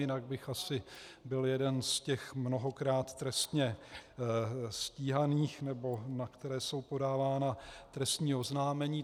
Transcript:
Jinak bych asi byl jeden z těch mnohokrát trestně stíhaných, nebo na které jsou podávána trestní oznámení.